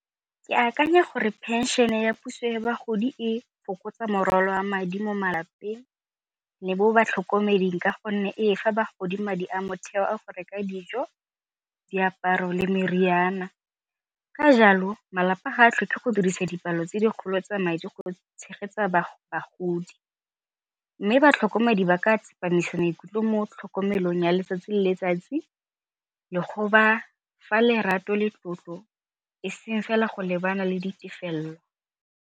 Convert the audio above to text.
Ke akanya gore phenšene ya puso ya bagodi e fokotsa morwalo a madi mo malapeng le mo batlhokomeding ka gonne e fa bagodi madi a motheo a go reka dijo, diaparo le meriana. Ka jalo malapa ga a tlhoke go dirisa dipalo tse dikgolo tsa madi go tshegetsa bagodi mme batlhokomedi ba ka tsepamisa maikutlo mo tlhokomelong ya letsatsi le letsatsi le go ba fa lerato le tlotlo eseng fela go lebana le ditefelelo.